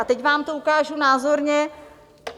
A teď vám to ukážu názorně.